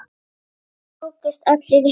Þeir tókust allir í hendur.